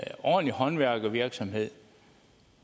ordentlig håndværkervirksomhed